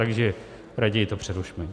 Takže raději to přerušme.